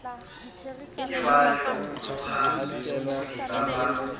ke wa lemoha bodiba ba